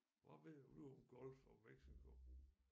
Hvad ved du om Gulf of Mexico?